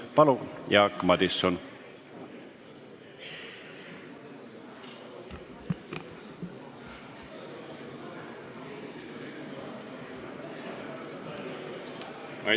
Palun, Jaak Madison!